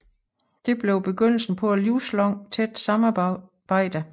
Dette blev begyndelsen på et livslangt tæt samarbejde